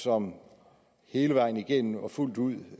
som hele vejen igennem og fuldt ud